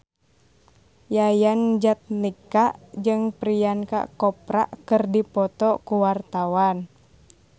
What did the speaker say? Yayan Jatnika jeung Priyanka Chopra keur dipoto ku wartawan